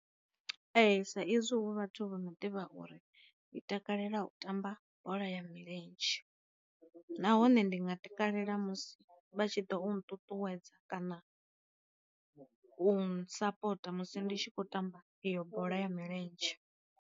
Ee sa izwi hu vhathu vho no ḓivha uri ndi takalela u tamba bola ya milenzhe, nahone ndi nga takalela musi vha tshi ḓa u nṱuṱuwedza kana u nsapota musi nditshi kho tamba iyo bola ya milenzhe.